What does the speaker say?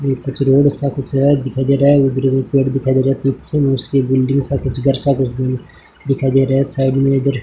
ये सा कुछ है दिखाई दे रहा है उधर भी पेड़ दिखाई दे रहे है पीछे उसकी बिल्डिंग सा कुछ घर सा दिखाई दे रहा है साइड में इधर --